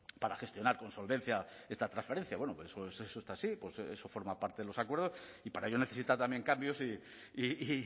para gestionar con solvencia esta transferencia eso está así eso forma parte de los acuerdos y para ello necesita también cambios y